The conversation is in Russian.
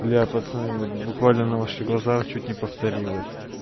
бля пацаны вот буквально на ваших глазах чуть не повторилось